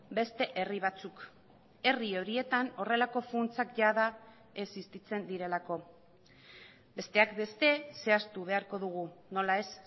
beste herri batzuk herri horietan horrelako funtsak jada existitzen direlako besteak beste zehaztu beharko dugu nola ez